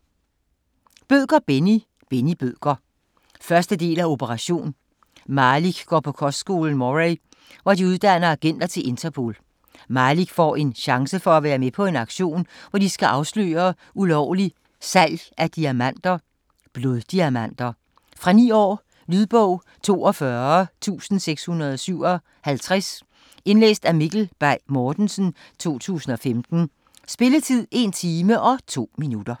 Bødker, Benni: Benni Bødker 1. del af Operation. Malik går på kostskolen Moray, hvor de uddanner agenter til Interpol. Malik får en chance for at være med på en aktion, hvor de skal afsløre ulovlig salg af diamanter - bloddiamanter. Fra 9 år. Lydbog 42657 Indlæst af Mikkel Bay Mortensen, 2015. Spilletid: 1 time, 2 minutter.